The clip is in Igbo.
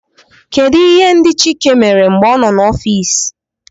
Kedu ihe ndị chike mere mgbe ọ nọ n'ọfịs?